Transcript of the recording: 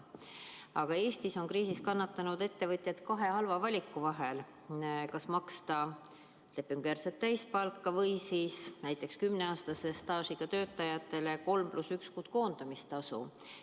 Aga Eestis on kriisis kannatanud ettevõtjad kahe halva valiku vahel: kas maksta lepingujärgset täispalka või siis näiteks kümneaastase staažiga töötajatele 3 + 1 kuu eest koondamistasu.